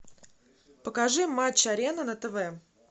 покажи матч арена на тв